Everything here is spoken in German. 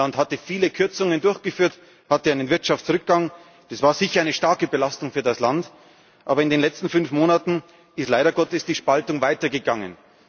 Griechenland hatte viele Kürzungen durchgeführt, hatte einen Wirtschaftsrückgang, das war sicher eine starke Belastung für das Land, aber in den letzten fünf Monaten ist leider Gottes die Spaltung weitergegangen.